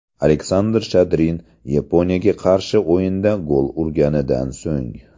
Aleksandr Shadrin Yaponiyaga qarshi o‘yinda gol urgandan so‘ng.